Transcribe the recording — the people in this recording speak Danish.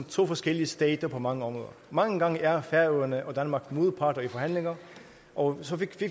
to forskellige stater på mange områder mange gange er færøerne og danmark modparter i forhandlinger og så fik